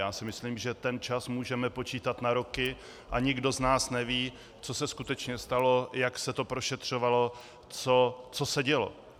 Já si myslím, že ten čas můžeme počítat na roky, a nikdo z nás neví, co se skutečně stalo, jak se to prošetřovalo, co se dělo.